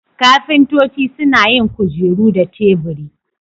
Ƙafintoci suna yin kujeru da teburi.